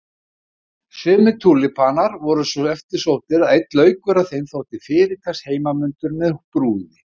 Sumir túlípanar voru svo eftirsóttir að einn laukur af þeim þótti fyrirtaks heimanmundur með brúði.